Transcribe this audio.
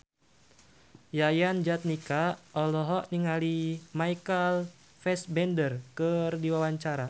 Yayan Jatnika olohok ningali Michael Fassbender keur diwawancara